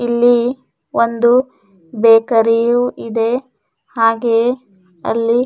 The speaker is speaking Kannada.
ಇಲ್ಲಿ ಒಂದು ಬೇಕರಿಯೂ ಇದೆ ಹಾಗೆ ಅಲ್ಲಿ --